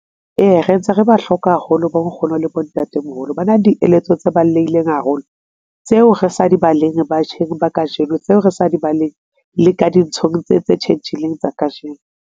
Ee, re ntse re ba hloka haholo, bo Nkgono le bo Ntate-moholo. Ba na dieletso tse balolehileng haholo tseo re sa di baleng batjheng ba kajeno, tseo re sa di baleng le ka dinthong tse tse tjhentjhileng tsa kajeno.